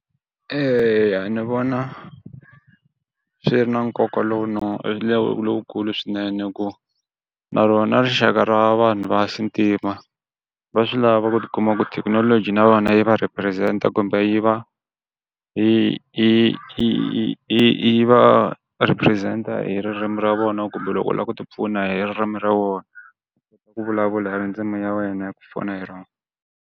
E ya ni vona swi ri na nkoka lowu lowukulu swinene ku na rona rixaka ra vanhu va xintima va swi lava ku tikuma ku thekinoloji na vona yi va represent-a kumbe yi yi yi va represent hi ririmi ra vona kumbe loko u la ku ti pfuna hi ririmi ra vona u vulavula hi ndzimu ya wena ya ku pfuna hi rona.